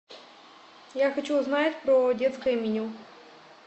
я хочу узнать про детское меню